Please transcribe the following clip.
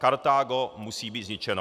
Kartágo musí být zničeno.